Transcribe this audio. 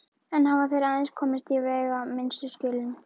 Enn hafa þeir aðeins komist í veigaminnstu skjölin.